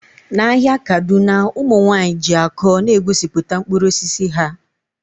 N'ahịa kaduna ụmụ nwanyị ji akọ na-egosipụta mkpụrụ osisi ha